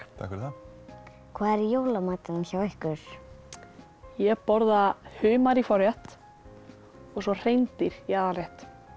fyrir það hvað er í jólamatinn hjá ykkur ég borða humar í forrétt og hreindýr í aðalrétt